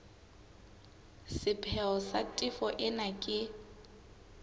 sepheo sa tefo ena ke